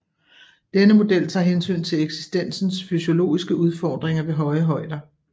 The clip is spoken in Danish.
Denne model tager hensyn til eksistensens fysiologiske udfordringer ved høje højder